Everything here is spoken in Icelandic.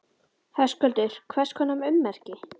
Höskuldur: Hvers konar ummerki?